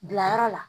Bilayɔrɔ la